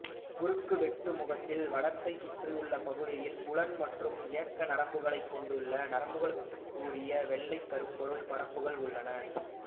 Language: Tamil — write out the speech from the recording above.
குறுக்கு வெட்டுமுகத்தில் வடத்தைச் சுற்றியுள்ள பகுதியில் புலன் மற்றும் இயக்க நரம்புக்கலங்களைக் கொண்டுள்ள நரம்புக்கலத்துக்குரிய வெள்ளைக் கருப்பொருள் பரப்புகள் உள்ளன